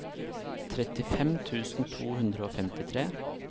trettifem tusen to hundre og femtitre